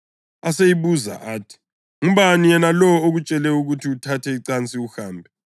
Aseyibuza athi, “Ngubani yena lowo okutshele ukuthi uthathe icansi uhambe?”